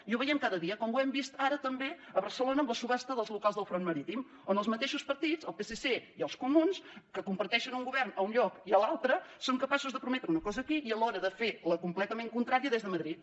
i ho veiem cada dia com ho hem vist ara també a barcelona amb la subhasta dels locals del front marítim on els mateixos partits el psc i els comuns que comparteixen un govern a un lloc i a l’altre són capaços de prometre una cosa aquí i a l’hora de fer fer la completament contrària des de madrid